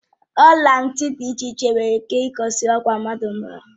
ọla ntị dị iche iche nwere ike igosi ọkwa mmadụ n'ọha